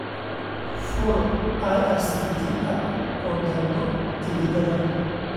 fur irctc app oo dalbo tigidhada